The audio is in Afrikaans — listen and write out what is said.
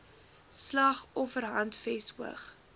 slag offerhandves hoog